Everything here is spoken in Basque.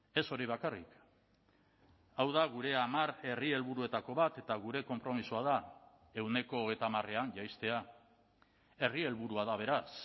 ez hori bakarrik hau da gure hamar herri helburuetako bat eta gure konpromisoa da ehuneko hogeita hamarean jaistea herri helburua da beraz